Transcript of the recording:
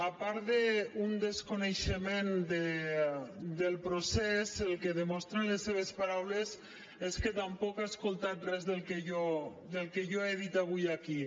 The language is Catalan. a part d’un desconeixement del procés el que demostren les seves paraules és que tampoc ha escoltat res del que jo he dit avui aquí